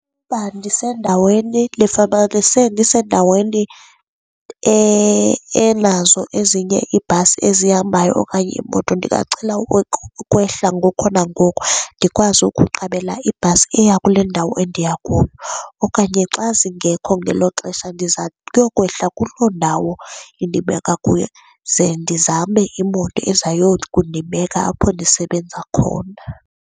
Uba ndisendaweni ndifumanise ndisendaweni enazo ezinye iibhasi ezihambayo okanye iimoto ndingacela ukwehla ngoko nangoko ndikwazi ukuqabela ibhasi eya kule ndawo endiya kuyo, okanye xa zingekho ngelo xesha ndiza kuyokwehla kuloo ndawo iyondibeka kuyo, ze ndizame imoto eza yokundibeka apho ndisebenza khona.